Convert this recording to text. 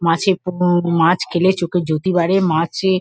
মাছে মাছ খেলে চোখের জ্যোতি বাড়ে। মাছে--